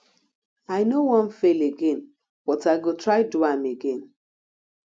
i no wan fail again but i go try do am again